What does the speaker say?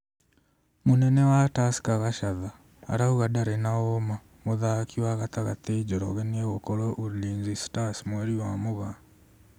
Mũnene wa Tusker Gachatha arauga ndarĩ na ũma mũthaki wa gatagatĩ Njoroge nĩegũkorwo ulinzi stars mweri wa Mũgaa